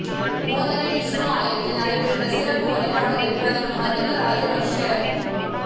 மோதரை விஷ்னு ஆலயத்தில் நடைபெற்ற சிறப்பு வழிபாடுகளில் பிரதமர் மஹிந்த ராஜபக்ஷ